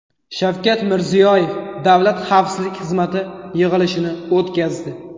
Shavkat Mirziyoyev Davlat xavfsizlik xizmati yig‘ilishini o‘tkazdi.